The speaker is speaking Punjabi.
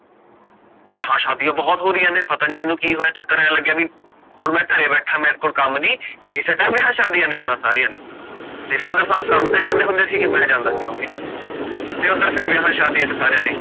ਵਿਆਹ ਸ਼ਾਦੀਆਂ ਬਹੁਤ ਹੋ ਰਹੀਆਂ ਨੇ, ਪਤਾ ਨੀ ਮੈਨੂੰ ਕਿ ਹੋਇਆ ਐਸਾ, ਚੱਕਰ ਕਿ ਪੀਯਾ ਹੁਣ ਮੈਂ ਘਰੇ ਬੈਠਾ ਮੇਰੇ ਕੋਲ ਕਮ ਨੀ ਤੇ ਇਸੇ time ਵਿਆਹ ਸ਼ਾਦੀਆਂ ਨੇ ਆਣਾ ਸਾਰੀਆਂ ਨੇ father ਸਾਬ ਕਮ ਤੇ ਜਾਂਦੇ ਹੁੰਦੇ ਸੀਗੇ, ਤੇ ਮਈ ਜਾਂਦਾ ਸੀ ਮਮ੍ਮੀ ਨਾਲ, ਤੇ ਓਦਰ ਫੇਰ ਵਿਆਹ ਸ਼ਾਦੀਆਂ ਤੇ ਸਾਰਿਆਂ ਨੇ